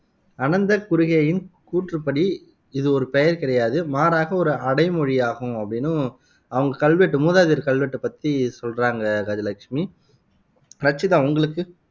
அனந்த குருகேயின் கூற்றுப்படி, இது ஒரு பெயர் கிடையாது. மாறாக ஒரு அடைமொழியாகும் அப்படின்னும் அவங்க கல்வெட்டு மூதாதையர் கல்வெட்டு பத்தி சொல்றாங்க கஜலட்சுமி ரச்சிதா உங்களுக்கு